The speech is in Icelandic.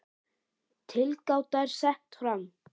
Tilgáta er sett fram.